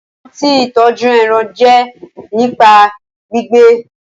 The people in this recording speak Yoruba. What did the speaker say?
Ọnà kán tí ìtọjú èràn jé nípa gbígbẹ